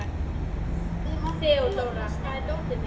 Þeódóra, hvar er dótið mitt?